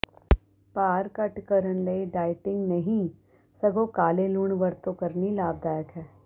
ਭਾਰ ਘੱਟ ਕਰਨ ਲਈ ਡਾਇਟਿੰਗ ਨਹੀਂ ਸਗੋਂ ਕਾਲੇ ਲੂਣ ਵਰਤੋਂ ਕਰਨੀ ਲਾਭਦਾਇਕ ਹੈ